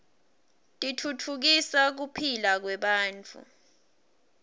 titfutfukisa kuphila kwebantfu